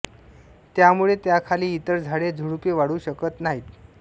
त्यामुळे त्याखाली इतर झाडे झुडपे वाढू शकत नाहीत